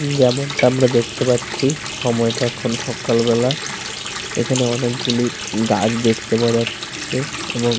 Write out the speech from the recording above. যেমনটা আমরা দেখতে পাচ্ছি সময়টা এখন সকালবেলা। এখানে অনেকগুলি গাছ দেখতে পাওয়া যাচ্ছে এবং।